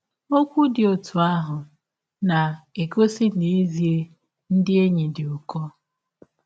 Ọkwụ dị ọtụ ahụ na - egọsi na ezi ndị enyi dị ụkọ.